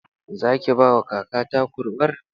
Zaki bawa kakata kurwar?